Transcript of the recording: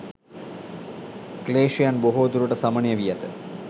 ක්ලේශයන් බොහෝ දුරට සමනය වී ඇත.